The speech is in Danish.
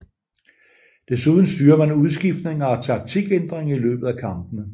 Desuden styrer man udskiftninger og taktikændringer i løbet af kampene